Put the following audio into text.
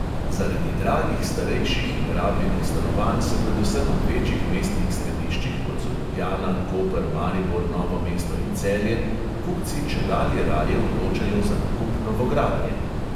Zaradi dragih starejših in rabljenih stanovanj se predvsem v večjih mestnih središčih, kot so ljubljana, koper, maribor, novo mesto in celje, kupci čedalje raje odločajo za nakup novogradnje.